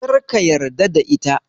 Kar ka yarda da ita.